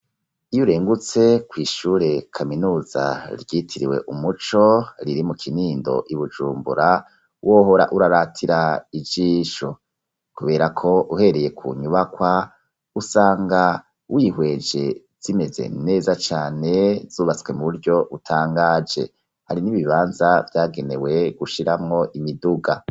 Iyo urengutse kw'ishure kaminuza ryitiriwe umuco riri mu kinindo i Bujumbura wohora uraratira ijisho. Kubera ko uhereye ku nyubakwa usanga wihweje zimeze neza cane zubatswe mu buryo butangaje. Hari n'ibibanza vyagenewe gushiramwo imiduga.